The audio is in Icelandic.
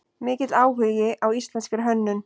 Mikill áhugi á íslenskri hönnun